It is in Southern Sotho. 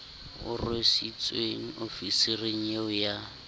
o rwesitsweng ofisiri eo ya